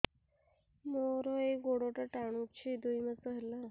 ମୋର ଏଇ ଗୋଡ଼ଟା ଟାଣୁଛି ଦୁଇ ମାସ ହେଲା